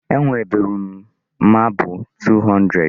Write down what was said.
Enweburu m mabụ 200.